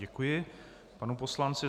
Děkuji panu poslanci.